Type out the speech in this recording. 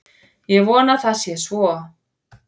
Ég vona að það sé svo